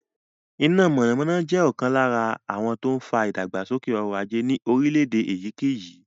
Iná mọ̀nàmọ́ná jẹ́ ọ̀kan lára àwọn tó ń fa ìdàgbàsókè ọrọ̀ ajé ní orílẹ̀-èdè èyíkéyìí.